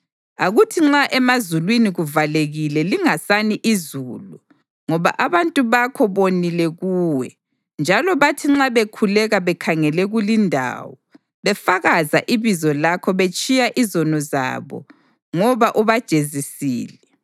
Akuthi nxa emazulwini kuvalekile lingasani izulu ngoba abantu bakho bonile kuwe, njalo bathi nxa bekhuleka bekhangele kulindawo befakaza ibizo lakho betshiya izono zabo ngoba ubajezisile,